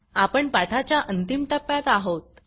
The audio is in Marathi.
आपण पाठाच्या अंतिम टप्प्यात आहोत